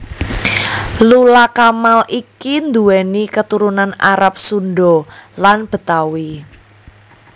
Lula Kamal iki nduwéni katurunan Arab Sunda lan Betawi